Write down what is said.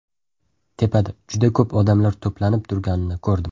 Tepada juda ko‘p odamlar to‘planib turganini ko‘rdim.